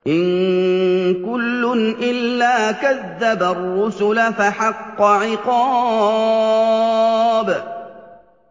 إِن كُلٌّ إِلَّا كَذَّبَ الرُّسُلَ فَحَقَّ عِقَابِ